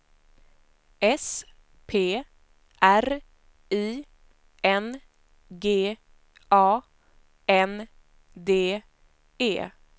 S P R I N G A N D E